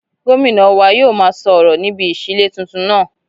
Gómìnà wa yóò máa sọ ọ̀rọ̀ níbi ìṣílé tuntun náà